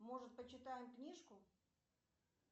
может почитаем книжку